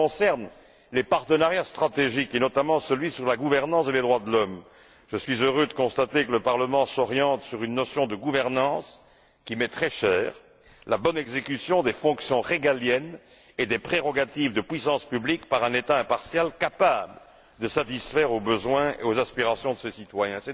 En ce qui concerne les partenariats stratégiques et notamment celui sur la gouvernance et les droits de l'homme, je suis heureux de constater que le Parlement s'oriente vers une notion de gouvernance qui m'est très chère, la bonne exécution des fonctions régaliennes et des prérogatives de puissance publique par un État impartial capable de satisfaire aux besoins et aux aspirations de ces citoyens.